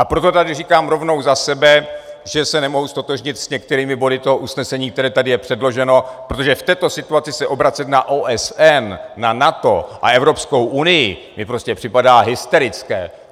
A proto tady říkám rovnou za sebe, že se nemohu ztotožnit s některými body toho usnesení, které tady je předloženo, protože v této situaci se obracet na OSN, na NATO a Evropskou unii mi prostě připadá hysterické!